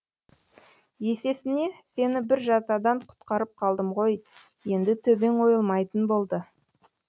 есесіне сені бір жазадан құтқарып қалдым ғой енді төбең ойылмайтын болды